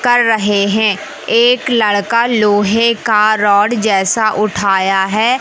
कर रहे हैं एक लड़का लोहे का रॉड जैसा उठाया है।